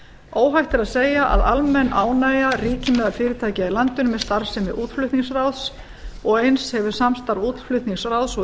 óhætt er að segja að almenn ánægja ríki meðal fyrirtækja í landinu með starfsemi útflutningsráðs og eins hefur samstarf útflutningsráðs og